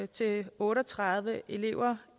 til otte og tredive elever